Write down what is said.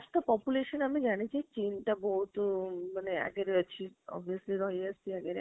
ତ population ଆମ ଜାଣିଛେ ଚୀନଟା ଭୁତ ଆଗରେ ଅଛି obviously ରହି ଆସିଛି ଆଗରେ